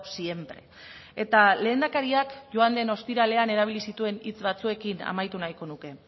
siempre eta lehendakariak joan den ostiralean erabili zituen hitz batzuekin amaitu nahiko nuke